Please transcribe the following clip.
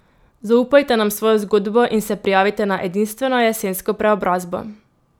Zaupajte nam svojo zgodbo in se prijavite na edinstveno jesensko preobrazbo.